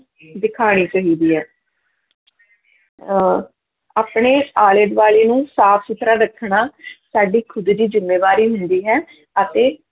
ਦਿਖਾਉਣੀ ਚਾਹੀਦੀ ਹੈ ਅਹ ਆਪਣੇ ਆਲੇ ਦੁਆਲੇ ਨੂੰ ਸਾਫ਼ ਸੁੱਥਰਾ ਰੱਖਣਾ ਸਾਡੀ ਖੁੱਦ ਦੀ ਜ਼ਿੰਮੇਵਾਰੀ ਹੁੰਦੀ ਹੈ ਅਤੇ